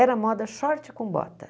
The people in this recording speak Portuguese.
Era moda short com bota.